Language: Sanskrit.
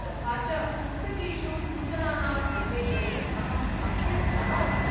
तथा च पुस्तकेषु सूचनानाम् अन्वेषणे अहम् अभ्यस्तः अस्मि।